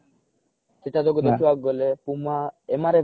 ସେଇଟା ଯୋଗୁଁ ଦେଖିବାକୁ ଗଲେ puma MRF